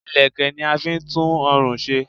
Ìlẹ̀kẹ̀ ni a fi n tú orùn se